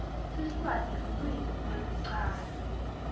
siswati lulwimi lwekucala